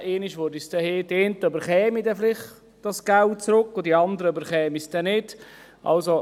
Die einen würden das Geld vielleicht zurückerhalten, und die anderen würden es nicht erhalten.